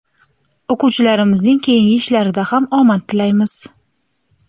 O‘quvchilarimizning keyingi ishlarida ham omad tilaymiz!.